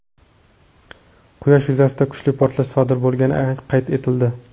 Quyosh yuzasida kuchli portlash sodir bo‘lgani qayd etildi.